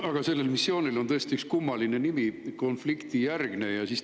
Aga sellel missioonil on tõesti kummaline nimi: "konfliktijärgne rahuvalveoperatsioon".